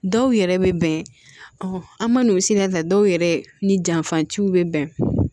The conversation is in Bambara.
Dɔw yɛrɛ bɛ bɛn ɔ an ma n'o sira ta dɔw yɛrɛ ni janfatiw bɛ bɛn